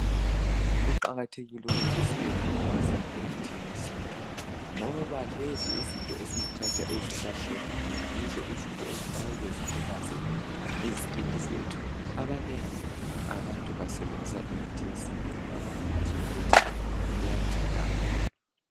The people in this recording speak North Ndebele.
Kuqakathekile ukuthi sibe lolwazi emithini yesintu, ngoba lezi izinto esizithatha ezihlahleni yizo izinto ezingeke zilimaze izikini zethu. Abanengi abantu basebenzisa imithi yesintu ngoba bayakwazi ukuthi iyanceda kakhulu.